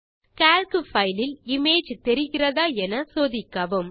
Calc file இல் image தெரிகிறதா என சோதிக்கவும்